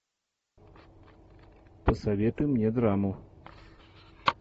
посоветуй мне драму